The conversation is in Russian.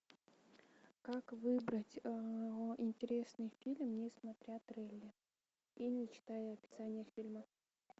как выбрать интересный фильм не смотря трейлер и не читая описания фильма